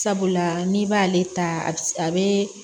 Sabula n'i b'ale ta a bi a be